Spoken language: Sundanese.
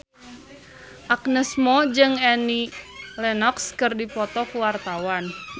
Agnes Mo jeung Annie Lenox keur dipoto ku wartawan